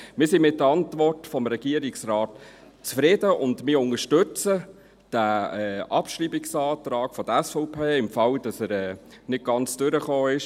Wir sind mit der Antwort des Regierungsrates zufrieden und unterstützen den Abschreibungsantrag der SVP, für den Fall, dass er bei deren Redezeit nicht ganz durchgekommen ist.